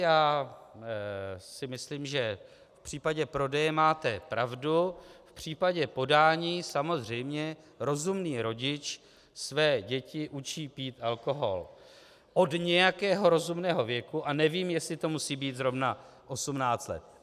Já si myslím, že v případě prodeje máte pravdu, v případě podání samozřejmě rozumný rodič své děti učí pít alkohol od nějakého rozumného věku a nevím, jestli to musí být zrovna 18 let.